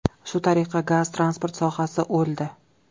Shu tariqa gaz-transport sohasi o‘ldi.